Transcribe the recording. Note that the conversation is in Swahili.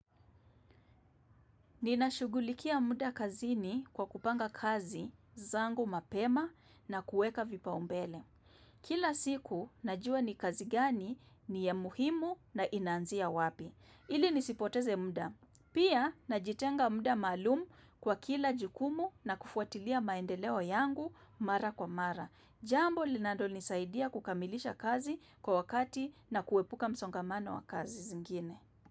Ninashugulikia muda kazini kwa kupanga kazi zangu mapema na kuweka vipaumbele. Kila siku najua ni kazi gani ni ya muhimu na inanzia wapi. Ili nisipoteze muda. Pia najitenga muda maalum kwa kila jukumu na kufuatilia maendeleo yangu mara kwa mara. Jambo linalo nisaidia kukamilisha kazi kwa wakati na kuepuka msongamano wa kazi zingine.